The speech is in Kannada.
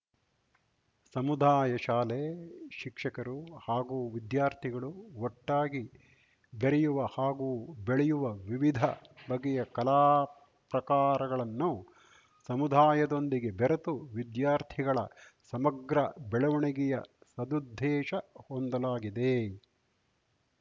ಸಮುದಾಯ ಶಾಲೆ ಶಿಕ್ಷಕರು ಹಾಗೂ ವಿದ್ಯಾರ್ಥಿಗಳು ಒಟ್ಟಾಗಿ ಬೆರೆಯುವ ಹಾಗೂ ಬೆಳೆಯುವ ವಿವಿಧ ಬಗೆಯ ಕಲಾ ಪ್ರಕಾರಗಳನ್ನು ಸಮುದಾಯದೊಂದಿಗೆ ಬೆರೆತು ವಿದ್ಯಾರ್ಥಿಗಳ ಸಮಗ್ರ ಬೆಳವಣಿಗೆಯ ಸದುದ್ದೇಶ ಹೊಂದಲಾಗಿದೆ